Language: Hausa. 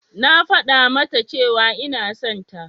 Na faɗa mata cewa ina son ta.